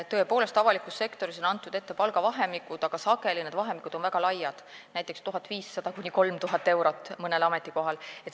Tõepoolest, avalikus sektoris on antud ette palgavahemikud, aga sageli on need vahemikud väga laiad, näiteks mõnel ametikohal 1500–3000 eurot.